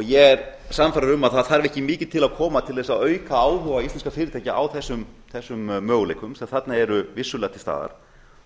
ég er sannfærður um að það þarf ekkimikið til að koma til þess að auka áhuga íslenskra fyrirtækja á þessum möguleikum sem þarna eru vissulega til staðar